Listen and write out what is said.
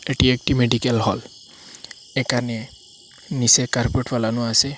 এটি একটি medical hall একানে নীসে কার্পেট ফ্যালানো আসে।